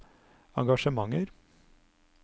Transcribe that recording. engasjementer